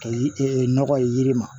Ka yi e nɔgɔ ye yiri ma